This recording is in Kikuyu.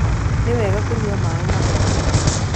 Niwega kũnyua maĩ mathondeke